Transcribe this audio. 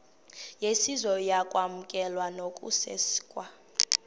yesizwe ukwamkelwa nokusekwa